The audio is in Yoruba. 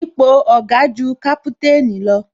Ipò Oga ju kaputanni lọ